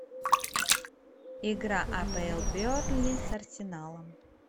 игра апл бернли с арсеналом